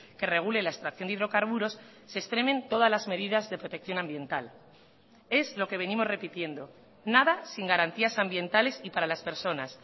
que regule la extracción de hidrocarburos se extremen todas las medidas de protección ambiental es lo que venimos repitiendo nada sin garantías ambientales y para las personas